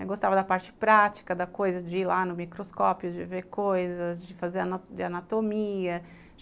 Eu gostava da parte prática, da coisa de ir lá no microscópio, de ver coisas, de fazer anatomia.